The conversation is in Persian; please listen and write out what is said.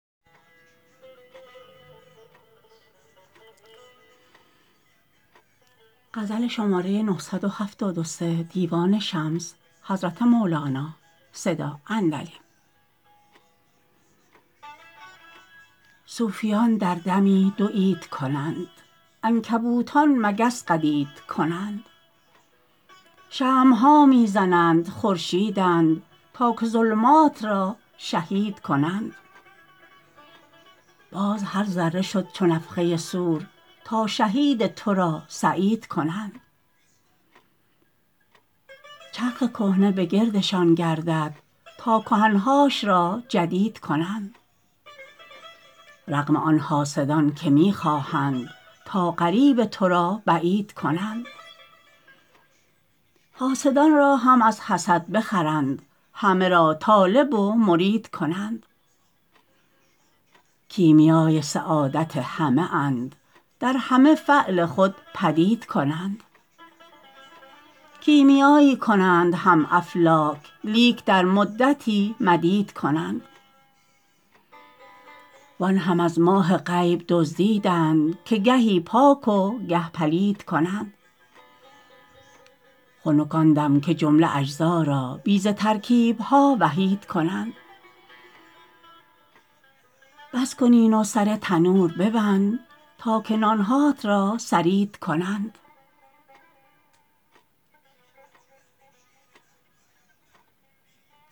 صوفیان در دمی دو عید کنند عنکبوتان مگس قدید کنند شمع ها می زنند خورشیدند تا که ظلمات را شهید کنند باز هر ذره شد چو نفخه صور تا شهید تو را سعید کنند چرخ کهنه به گردشان گردد تا کهنه هاش را جدید کنند رغم آن حاسدان که می خواهند تا قریب تو را بعید کنند حاسدان را هم از حسد بخرند همه را طالب و مرید کنند کیمیای سعادت همه اند در همه فعل خود بدید کنند کیمیایی کنند همه افلاک لیک در مدتی مدید کنند وان هم از ماه غیب دزدیدند که گهی پاک و گه پلید کنند خنک آن دم که جمله اجزا را بی ز ترکیب ها وحید کنند بس کن این و سر تنور ببند تا که نان هات را ثرید کنند